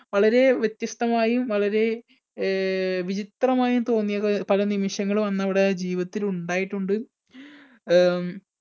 വളരെ വ്യത്യസ്തമായും വളരെ അഹ് വിചിത്രമായും തോന്നിയ പല നിമിഷങ്ങളും അന്നവിടെ ജീവിതത്തിൽ ഉണ്ടായിട്ടുണ്ട്. അഹ്